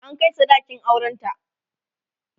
an Kai sadakin auran ta